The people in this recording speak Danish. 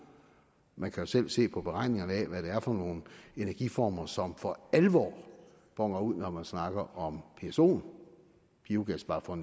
man kan jo selv se på beregningerne af hvad det er for nogle energiformer som for alvor boner ud når man snakker om psoen biogas bare for